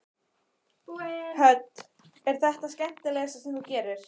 Hödd: Er þetta það skemmtilegasta sem þú gerir?